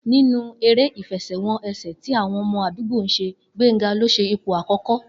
Nínú eré ìfe̩sè̩-wo̩n-e̩sè̩ tí àwo̩n o̩mo̩ àdúgbò ń s̩e, Gbénga ló s̩e ipò àkó̩kó̩